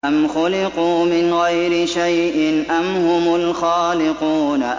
أَمْ خُلِقُوا مِنْ غَيْرِ شَيْءٍ أَمْ هُمُ الْخَالِقُونَ